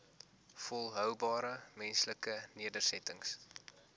volhoubare menslike nedersettings